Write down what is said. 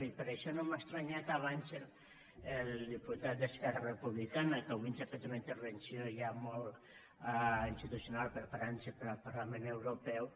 i per això no m’ha estranyat que abans el diputat d’esquerra republicana que avui ens ha fet una intervenció ja molt institucional preparant se per al parlament europeu